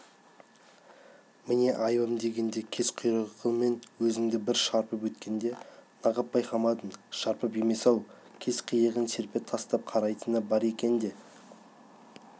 міне айыбым дегенде кез құйрығымен өзіңді бір шарпып өткенде нағып байқамадың шарпып емес-ау кез қиығын серпе тастап қарайтыны бар екен де